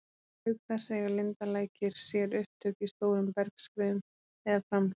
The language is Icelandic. Auk þess eiga lindalækir sér upptök í stórum bergskriðum eða framhlaupum.